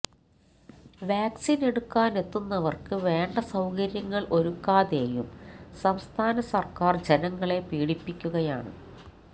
വാക്സിന് എടുക്കാന് എത്തുന്നവര്ക്ക് വേണ്ട സൌകര്യങ്ങള് ഒരുക്കാതെയും സംസ്ഥാന സര്ക്കാര് ജനങ്ങളെ പീഡിപ്പിക്കുകയാണ്